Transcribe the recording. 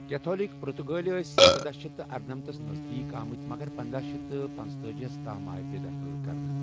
Catholic پرُتٕگٲلۍ ٲسۍ ژۄداہ شیتھ ارنمَتھس نزدیٖک آمٕتۍ مگر پنداہ شیتھ پنتأجی ہَس تام آے بےٚ دخل کرنہٕ۔